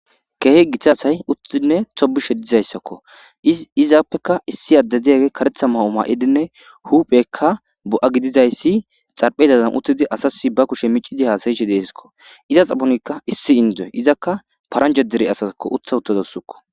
Keehi giitta asay toobbishe uuttidii dizayssakko izapekka issi adde dizayssi kareththa mayo mayidinne huphpheyikka bo'a gidizayssi xarapeza bolla uuttidii asas ba kuushshe miiccidii hassayishe deesikko iza guyanikka issi indiya paranjja dere asasikka uutta uuttadussikko